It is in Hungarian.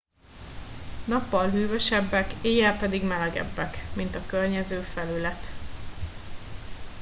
nappal hűvösebbek éjjel pedig melegebbek mint a környező felület